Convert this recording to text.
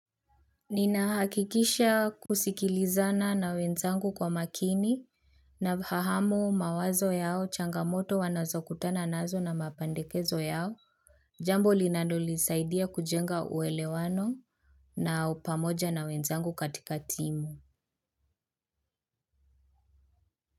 Ninahakikisha kusikilizana na wenzangu kwa makini na kufahamu mawazo yao changamoto wanazokutana nazo na mapendekezo yao jambo linalonisaidia kujenga uelewano na upamoja na wenzangu katika timu.